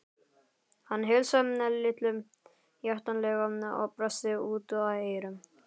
Hann heilsaði Lillu hjartanlega og brosti út að eyrum.